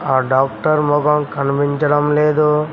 ఆ డాక్టర్ ముఖం కనిపించడం లేదు